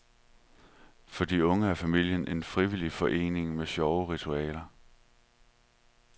For de unge er familien en frivillig forening med sjove ritualer.